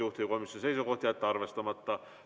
Juhtivkomisjoni seisukoht: jätta arvestamata.